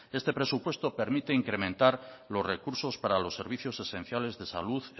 este presupuesto permite incrementar los recursos para los servicios esenciales de salud